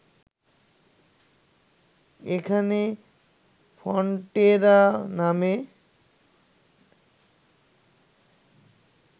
এখানে ফন্টেরা নামে